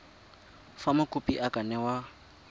fa mokopi a ka newa